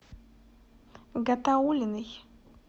гатауллиной